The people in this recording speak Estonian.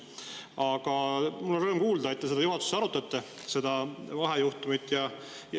Aga mul on rõõm kuulda, et te juhatuses seda vahejuhtumit arutate.